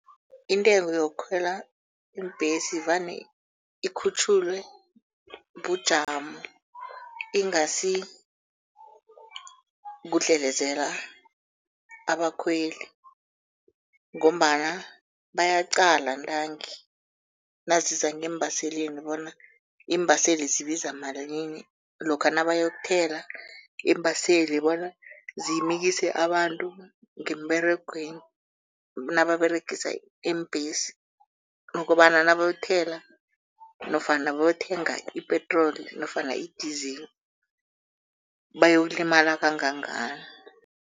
Intengo yokukhwela iimbhesi vane ikhutjhulwe bujamo ingasi kudlelezela abakhweli ngombana bayaqala nqangi naziza ngeembaseleni bona iimbaseli zibiza malini, lokha nabayokuthela, iimbaseli bona zimikise abantu ngemberegweni nababeregisa iimbhesi ukobana nabayothela nofana nabayothenga ipetroli nofana i-diesel bayokulimala kangangani.